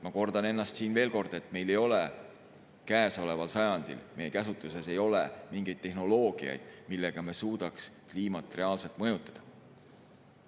Ma kordan ennast siin veel kord, et meie käsutuses ei ole käesoleval sajandil mingeid tehnoloogiaid, millega me suudaks kliimat reaalselt mõjutada.